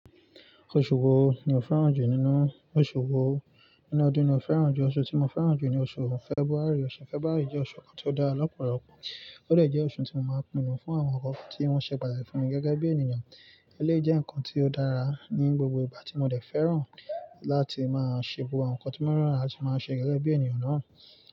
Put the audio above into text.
Oṣù wo ni o fẹ́ràn jù nínú ọṣù wo? Nínú ọdún mi o fẹ́ràn jù? Oṣù tí mo fẹ́ràn jù ni oṣù Fẹ́buárì. Ọ̀ṣẹ̀ Fẹ́bàárì jẹ́ oṣù kan tí ó dára lọ́pọ̀lọpọ̀, ó de jẹ́ oṣù tí mo máa ń pinu fún àwọn nnkan kan tí wọ́n ṣẹ pàtaki fún mi gẹ́gẹ́ bí ènìyàn. Eléyìí jẹ́ ǹkan tí ó dára ní gbogbo ìgbà tí mo dẹ̀ fẹ́ràn láti máa ṣe gbogbo àwọn nǹkan tí maa n rọrùn láti máa ṣe gẹ́gẹ́ bí ènìyàn náà.